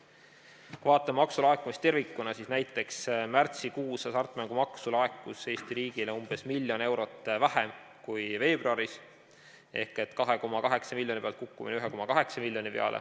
Kui me vaatame maksulaekumist tervikuna, siis näiteks märtsikuus laekus hasartmängumaksu Eesti riigile umbes miljon eurot vähem kui veebruaris, 2,8 miljoni pealt oli kukkumine 1,8 miljoni peale.